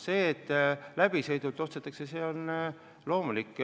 See, et läbisõidul ostetakse, on loomulik.